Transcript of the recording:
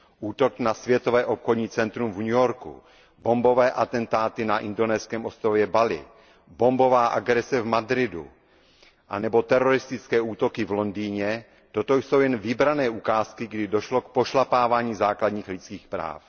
Útok na Světové obchodní centrum v New Yorku, bombové atentáty na indonéském ostrově Bali, bombová agrese v Madridu anebo teroristické útoky v Londýně, to jsou jen vybrané ukázky, kdy došlo k pošlapávání základních lidských práv.